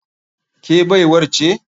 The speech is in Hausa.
Ke baiwar ce?